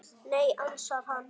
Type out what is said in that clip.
Nei, ansar hann.